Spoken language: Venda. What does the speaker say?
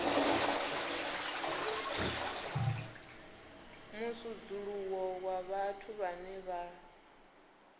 musudzuluwo wa vhathu vhane vha